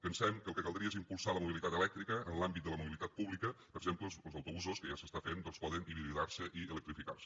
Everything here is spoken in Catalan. pensem que el que caldria és impulsar la mobilitat elèctrica en l’àmbit de la mobilitat pública per exemple los autobusos que ja s’està fent doncs poden hibridar se i electrificar se